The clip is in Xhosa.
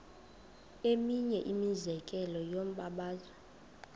eminye imizekelo yombabazo